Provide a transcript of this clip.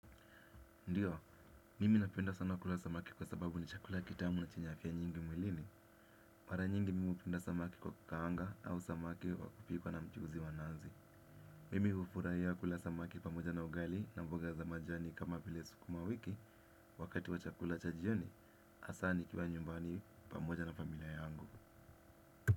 Ndiyo, mimi napenda sana kula samaki kwa sababu ni chakula kitamu na chenye afyia nyingi mwilini. Mara nyingi mimi hupenda samaki kwa kukaanga au samaki wa kupikwa na mchuzi wa nazi. Mimi hufurahia kula samaki pamoja na ugali na mboga za majani kama vile sukuma wiki. Wakati wa chakula cha jioni, hasa nikiwa nyumbani pamoja na familia yangu.